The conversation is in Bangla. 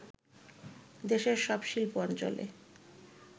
দেশের সব শিল্প অঞ্চলে